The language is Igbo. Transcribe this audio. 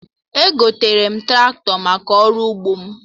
Egotere m Traktọ maka ụgbọ m